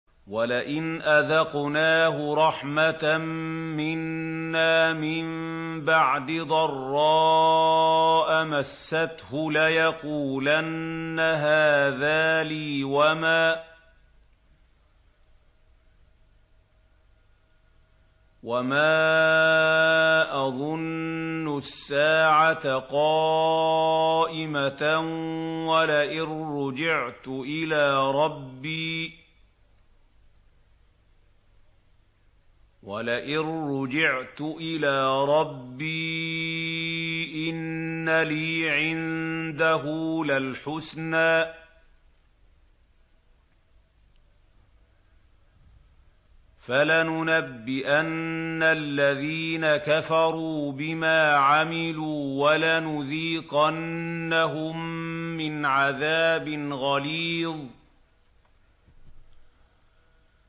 وَلَئِنْ أَذَقْنَاهُ رَحْمَةً مِّنَّا مِن بَعْدِ ضَرَّاءَ مَسَّتْهُ لَيَقُولَنَّ هَٰذَا لِي وَمَا أَظُنُّ السَّاعَةَ قَائِمَةً وَلَئِن رُّجِعْتُ إِلَىٰ رَبِّي إِنَّ لِي عِندَهُ لَلْحُسْنَىٰ ۚ فَلَنُنَبِّئَنَّ الَّذِينَ كَفَرُوا بِمَا عَمِلُوا وَلَنُذِيقَنَّهُم مِّنْ عَذَابٍ غَلِيظٍ